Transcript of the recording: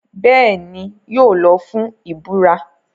Bẹ́ẹ̀ni, yóò lọ fún ìburá.